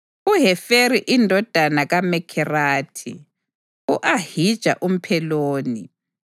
uHeferi indodana kaMekherathi, u-Ahija umPheloni,